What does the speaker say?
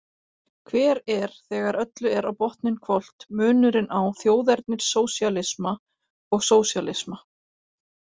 Hver er, þegar öllu er á botninn hvolft, munurinn á þjóðernissósíalisma og sósíalisma?